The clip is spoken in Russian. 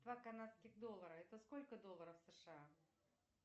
два канадских доллара это сколько долларов сша